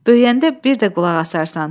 Böyüyəndə bir də qulaq asarsan.